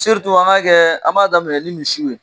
an k'a kɛ, an b'a daminɛ ni misiw ye.